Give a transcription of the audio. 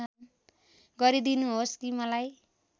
गरीदिनुहोस् कि मलाई